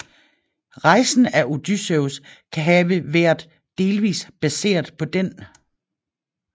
Rejsen af Odysseus kan have vært delvis baseret på den